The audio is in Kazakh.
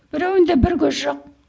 біреуінде бір көз жоқ